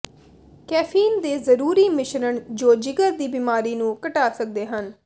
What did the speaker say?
caffeine ਦੇ ਜ਼ਰੂਰੀ ਮਿਸ਼ਰਣ ਜੋ ਜਿਗਰ ਦੀ ਬਿਮਾਰੀ ਨੂੰ ਘਟਾ ਸਕਦੇ ਹਨ